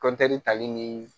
tali ni